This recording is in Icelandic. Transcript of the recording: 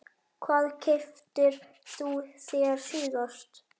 Hvað keyptir þú þér síðast?